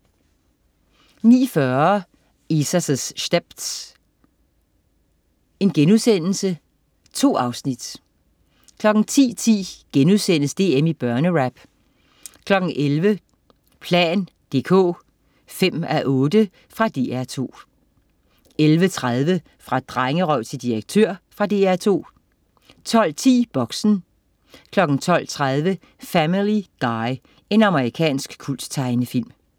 09.40 Isa's Stepz.* 2 afsnit 10.10 DM i børnerap* 11.00 plan dk 5:8. Fra DR2 11.30 Fra drengerøv til direktør. Fra DR2 12.10 Boxen 12.30 Family Guy. Amerikansk kulttegnefilm